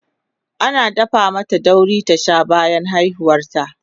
an dafa mata dauri ta Sha bayan haihuwar ta